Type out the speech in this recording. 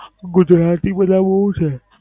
ગુજરાતી બધા બોવ છે.